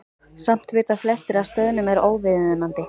Samt vita flestir að stöðnun er óviðunandi.